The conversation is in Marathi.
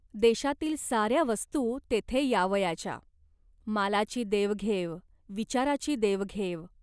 देशातील साऱ्या वस्तू तेथे यावयाच्या. मालाची देवघेव, विचाराची देवघेव.